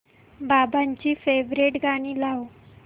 बाबांची फेवरिट गाणी लाव